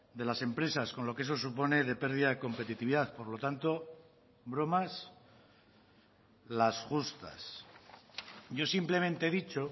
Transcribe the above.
de las empresas con lo que eso supone de pérdida de competitividad por lo tanto bromas las justas yo simplemente he dicho